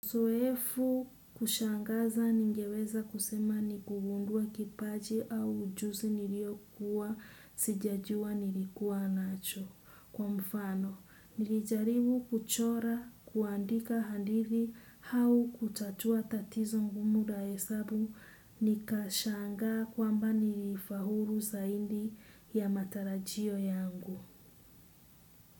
Zoefu kushangaza ningeweza kusema ni kugundua kipaji au ujuzi niliyokuwa sijajua nilikuwa nacho kwa mfano. Nilijaribu kuchora kuandika hadithi au kutatua tatizo ngumu la hesabu nikashangaa kwamba nilifaulu zaidi ya matarajio yangu.